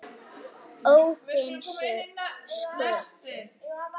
Óðinsgötu